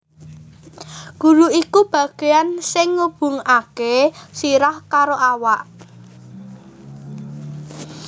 Gulu iku bagéan sing ngubungaké sirah karo awak